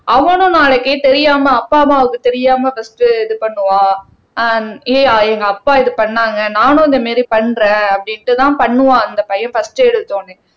அவனும் நாளைக்கு தெரியாம அப்பா அம்மாவுக்கு தெரியாம பர்ஸ்ட் இது பண்ணுவா ஆஹ் எங்க அப்பா இது பண்ணாங்க நானும் இந்த மாதிரி பண்றேன் அப்படின்னுட்டு தான் பண்ணுவான் அந்த பையன் பர்ஸ்ட் எடுத்த உடனே